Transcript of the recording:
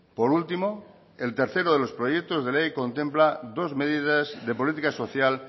por último el tercero de los proyectos de ley contempla dos medidas de política social